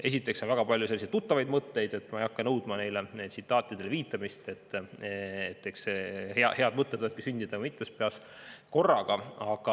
Esiteks on seal väga palju tuttavaid mõtteid, aga ma ei hakka nõudma tsitaatidele viitamist – eks head mõtted võivad sündida ka mitmes peas korraga.